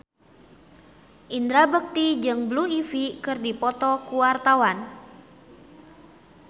Indra Bekti jeung Blue Ivy keur dipoto ku wartawan